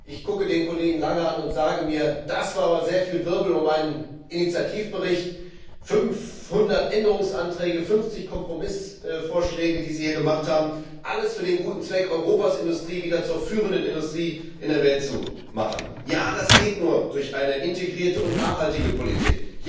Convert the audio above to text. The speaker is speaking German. Ich schaue den Kollegen Lange an und sage mir Das war aber sehr viel Wirbel um einen Initiativbericht. 500 Änderungsanträge, 50 Kompromissvorschläge, die Sie hier gemacht haben, für den guten Zweck, Europas Industrie wieder zur führenden Industrie der Welt zu machen. Ja, das geht nur durch eine integrierte und nachhaltige Politik!